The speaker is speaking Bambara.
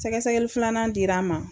Sɛgɛsɛgɛli filanan dir'an ma.